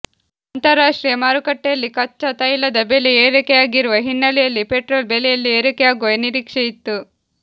ಅಂತರರಾಷ್ಟ್ರೀಯ ಮಾರುಕಟ್ಟೆಯಲ್ಲಿ ಕಚ್ಚಾ ತೈಲದ ಬೆಲೆ ಏರಿಕೆಯಾಗಿರುವ ಹಿನ್ನೆಲೆಯಲ್ಲಿ ಪೆಟ್ರೋಲ್ ಬೆಲೆಯಲ್ಲಿ ಏರಿಕೆಯಾಗುವ ನಿರೀಕ್ಷೆ ಇತ್ತು